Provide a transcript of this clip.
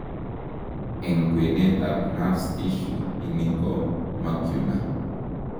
Eng' kwenet ab nerve tissue ini ko macula